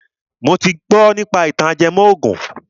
Mo ti gbọ nípa ìtàn ajẹmọ ògùn